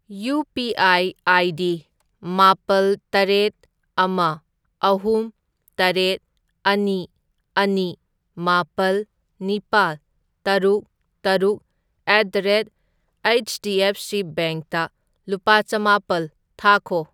UPI. ID. ꯃꯥꯄꯜ ꯇꯔꯦꯠ ꯑꯃ ꯑꯍꯨꯝ ꯇꯔꯦꯠ ꯑꯅꯤ ꯑꯅꯤ ꯃꯥꯄꯜ ꯅꯤꯄꯥꯜ ꯇꯔꯨꯛ ꯇꯔꯨꯛ at the rate H D F C ꯕꯦꯡꯛꯇ ꯂꯨꯄꯥ ꯆꯥꯝꯃꯥꯄꯜ ꯊꯥꯈꯣ꯫ .